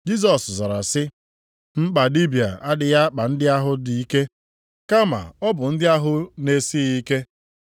Jisọs zara sị, “Mkpa dibịa adịghị akpa ndị ahụ dị ike, kama ọ bụ ndị ahụ na-esighị ike.